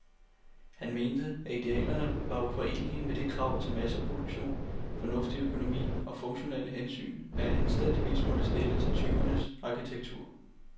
Han mente, at idealerne var uforenelige med de krav til masseproduktion, fornuftig økonomi og funktionelle hensyn, man anstændigvis måtte stille til tyvernes arkitektur.